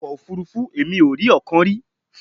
Ọkọ̀ òfuurufú! Èmi ò rí ọ̀kan rí.